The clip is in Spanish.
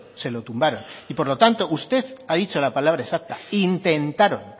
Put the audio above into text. se lo tumbaron y por lo tanto usted ha dicho la palabra exacta intentaron